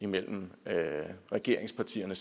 mellem regeringspartierne